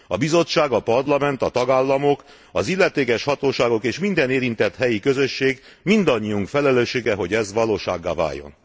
A Bizottság, a Parlament, a tagállamok, az illetékes hatóságok és minden érintett helyi közösség, mindannyiunk felelőssége, hogy ez valósággá váljon.